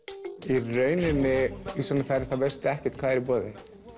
í rauninni í svona ferð veistu ekkert hvað er í boði